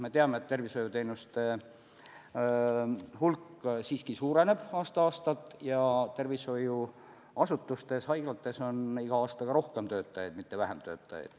Me teame, et tervishoiuteenuste hulk siiski suureneb aasta-aastalt ja tervishoiuasutustes, haiglates on iga aastaga rohkem töötajaid, mitte vähem töötajaid.